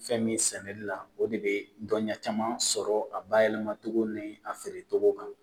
Fɛn min sɛnɛli la o de be dɔnniya caman sɔrɔ a bayɛlɛmatogo ni a feere togo kan